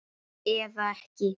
Eða ekki!